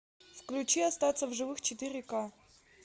включи остаться в живых четыре ка